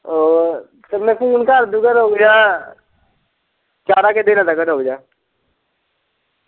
ਉਹ ਫੇਰ ਮੈਂ ਫੂਨ ਕਰ ਦਊਗਾ ਰੁਕ ਜਾਂ ਚਾਰਾਂ ਕ ਦਿਨਾਂ ਤੱਕ ਰੁਕ ਜਾ।